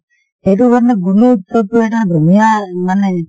সেইটো কাৰণে গুনোৎসৱ টো এটা ধুনীয়া মানে